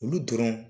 Olu dɔrɔn